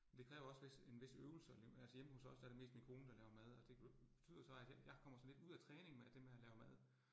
Det kræver også hvis en hvis øvelse alligevel, altså hjemme hos os, der det mest min kone, der laver mad, og det betyder så, at jeg kommer lidt ud af træning med at det med at lave mad